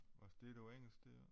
Og det noget engelsk der